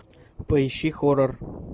поищи хоррор